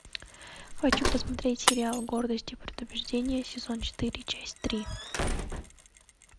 хочу посмотреть сериал гордость и предубеждение сезон четыре часть три